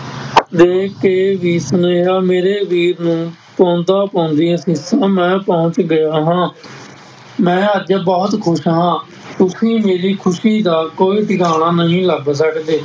ਦੇਖ ਕੇ ਵੀ ਸੁਨੇਹਾਂ ਮੇਰੇ ਵੀਰ ਨੂੰ ਪਾਉਂਦਾ ਮੈਂ ਪਹੁੰਚ ਗਿਆ ਹਾਂ ਮੈਂ ਅੱਜ ਬਹੁਤ ਖ਼ੁਸ਼ ਹਾਂ, ਤੁਸੀਂ ਮੇਰੀ ਖ਼ੁਸ਼ੀ ਦਾ ਕੋਈ ਠਿਕਾਣਾ ਨਹੀਂ ਲੱਗ